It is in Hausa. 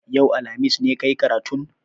Yau, alhamis, ne ka yi karatun?